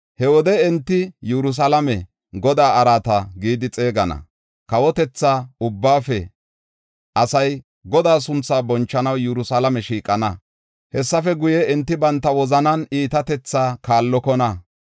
He wode enti Yerusalaame, ‘Godaa Araata’ gidi xeegana. Kawotetha ubbaafe asay Godaa sunthaa bonchanaw Yerusalaame shiiqana. Hessafe guye, enti banta wozanaa iitatethaa kaallokona.